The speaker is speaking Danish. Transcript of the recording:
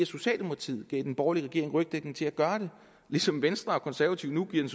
socialdemokratiet gav den borgerlige regering rygdækning til at gøre det ligesom venstre og konservative nu giver